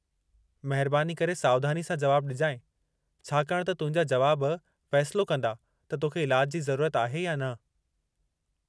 महिरबानी करे सावधानी सां जुवाबु ॾिजांइ, छाकाणि त तुंहिंजा जुवाब फ़ैसिलो कंदा त तोखे इलाजु जी ज़रूरत आहे या न।